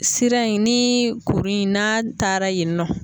Sira in ni kurun in n'a taara yen nɔ